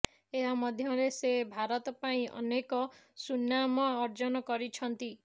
ଏହା ମଧ୍ୟରେ ସେ ଭାରତ ପାଇଁ ଅନେକ ସୁନାମ ଅର୍ଜନ କରିଛନ୍ତି